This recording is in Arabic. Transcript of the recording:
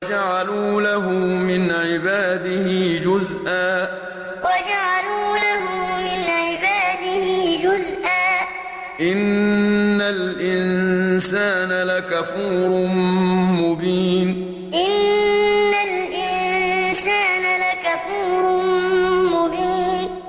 وَجَعَلُوا لَهُ مِنْ عِبَادِهِ جُزْءًا ۚ إِنَّ الْإِنسَانَ لَكَفُورٌ مُّبِينٌ وَجَعَلُوا لَهُ مِنْ عِبَادِهِ جُزْءًا ۚ إِنَّ الْإِنسَانَ لَكَفُورٌ مُّبِينٌ